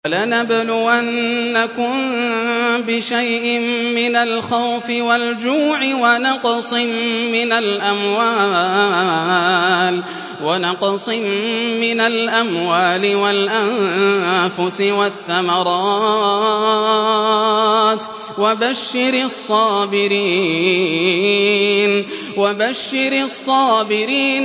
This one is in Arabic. وَلَنَبْلُوَنَّكُم بِشَيْءٍ مِّنَ الْخَوْفِ وَالْجُوعِ وَنَقْصٍ مِّنَ الْأَمْوَالِ وَالْأَنفُسِ وَالثَّمَرَاتِ ۗ وَبَشِّرِ الصَّابِرِينَ